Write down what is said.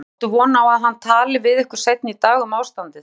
Guðjón: Áttu von á að hann tali við ykkur seinna í dag um ástandið?